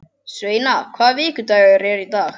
Sveina, hvaða vikudagur er í dag?